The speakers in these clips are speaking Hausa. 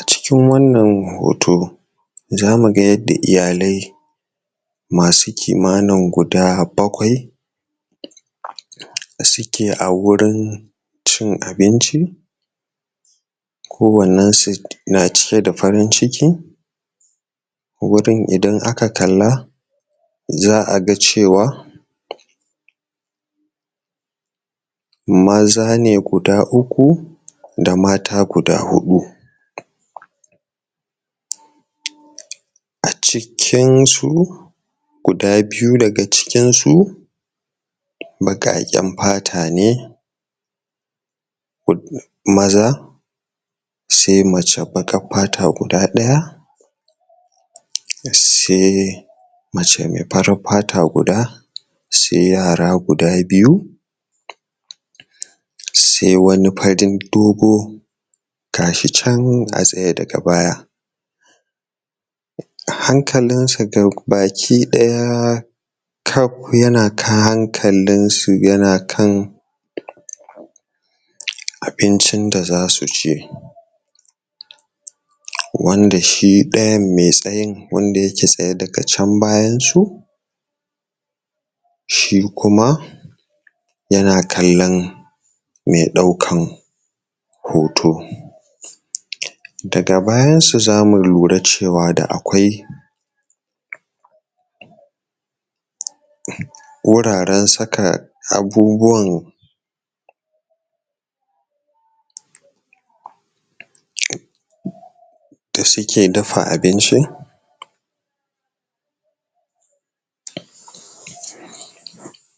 A cikin wannan hoto Za mu ga yadda iyalai Masu kimanin guda bakwai Suke a wurin Cin abinci Ko wannen su na cike da farin ciki Wurin idan a ka kalla, za'a ga cewa Maza ne guda uku, da mata guda huɗu A cikin su, guda biyu daga cikin su Baƙaƙen fata ne Maza Sai mace baƙar fata guda ɗaya Sai mace mai farar fata guda, sai yara guda biyu Sai wani farin dogo, gashi can a tsaye daga baya A hankalin sa gabaki ɗaya, kap yana ka hankalinsu ya na kan Abincin da za su ci Wanda shi ɗayan mai tsayin, wanda yake tsaye daga can bayan su Shi kuma yana kallon mai ɗaukan hoto Daga bayan su zamu lura cewa da akwai Wuraren saka abubuwan Da suke dafa abinci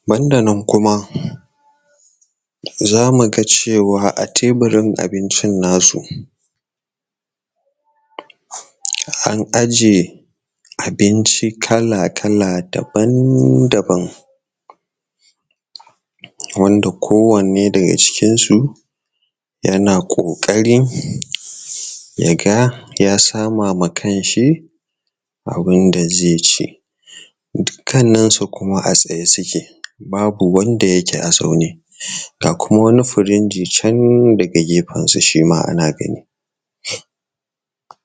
Ban da nan kuma Za muga cewa a tabirin abincin nasu An aje Abinci kala kala, daban daban Wanda ko wanne da ga cikin su Yana ƙoƙari ya ga ya sama ma kan shi Abun da zai ci Duk kannan sa kuma a tsaye suke, babu wanda yake a zaune Ga kuma wani furinji can daga gefen sa shima ana gani